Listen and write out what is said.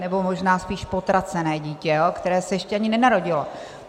Nebo možná spíš potracené dítě, které se ještě ani nenarodilo.